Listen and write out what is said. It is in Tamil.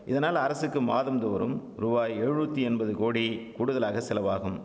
இதனால் அரசுக்கு மாதம்தோறும் ரூபாய் எழுநூத்தி என்பது கோடி கூடுதலாக செலவாகும்